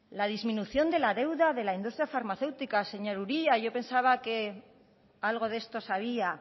la disminución de la deuda de la industria farmacéutica señor uria yo pensaba que algo de esto sabía